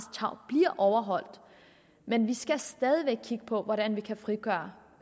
tarv bliver overholdt men vi skal stadig væk kigge på hvordan vi kan frigøre